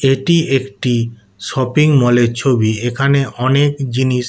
এটি একটি শপিং মলের ছবি এখানে অনেক জিনিস।